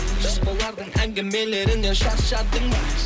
жас балдардың әңгімелерінен шаршадың ба